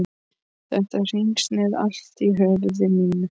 Þetta hringsnerist allt í höfði mínu.